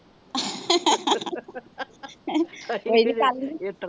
ਮੇਰੀ